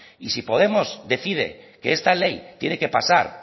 y si podemos decide que esta ley tiene que pasar